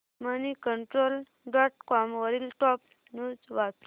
Moneycontrol dot com वरील top news वाच